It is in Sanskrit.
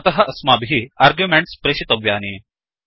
अतः अस्माभिः आर्ग्युमेण्ट्स् प्रेषयितव्यानि